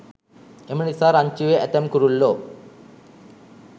එම නිසා රංචුවේ ඇතැම් කුරුල්ලෝ